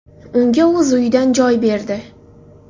Unga o‘z uyidan joy berdi.